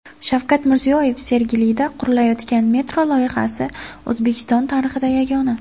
Shavkat Mirziyoyev: Sergelida qurilayotgan metro loyihasi O‘zbekiston tarixida yagona.